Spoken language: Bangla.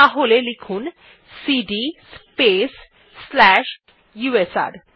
তাহলে লিখুন সিডি স্পেস স্লাশ ইউএসআর